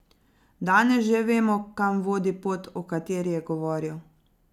Danes že vemo, kam vodi pot, o kateri je govoril.